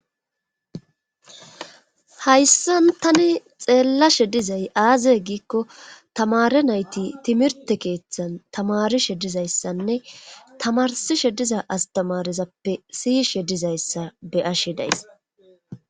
Hayssan tani xeellashe dizay aazay giikko tamare nayti timirte keeththan tamarishe dizayssanne tamarsishe diza astamarizappe siiyishshe dizayssa be'ashshe days